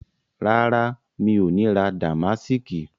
Rárá, mi ò ní ra Damásìkì